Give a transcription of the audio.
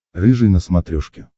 рыжий на смотрешке